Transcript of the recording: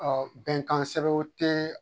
Ɔ bɛnkan sɛbɛnw tɛ